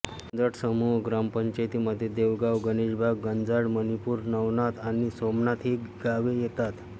गंजाड समूह ग्रामपंचायतीमध्ये देवगाव गणेशबाग गंजाड मणिपूर नवनाथ आणि सोमनाथ ही गावे येतात